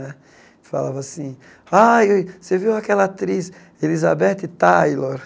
Né falava assim... Aí você viu aquela atriz, Elizabeth Taylor?